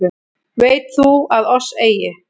Veit þú að oss eigi